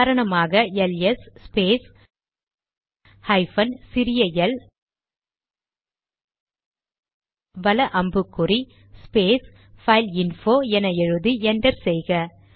உதாரணமாக L S space hyphen சிறிய L வல அம்புக்குறி ஸ்பேஸ் பைல்இன்போ என எழுதி என்டர் செய்க